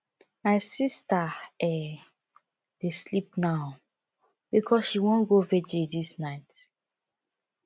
my sista um dey sleep now because she wan go virgil dis night